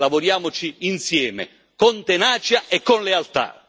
Lavoriamoci insieme, con tenacia e con lealtà!